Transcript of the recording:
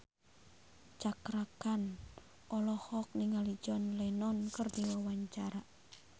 Cakra Khan olohok ningali John Lennon keur diwawancara